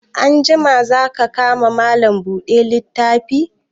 Anjima za ka ka ma Malam buɗe littafi?